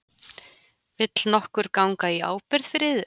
Vill nokkur ganga í ábyrgð fyrir yður?